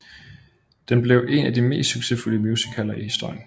Den blev en af de mest succesfulde musicaler i historien